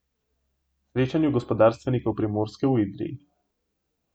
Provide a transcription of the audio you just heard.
Srečanju gospodarstvenikov Primorske v Idriji.